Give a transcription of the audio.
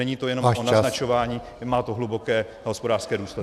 Není to jen o naznačování, má to hluboké hospodářské důsledky.